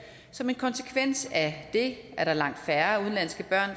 som en konsekvens af det er der langt færre udenlandske børn